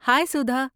ہائے سدھا!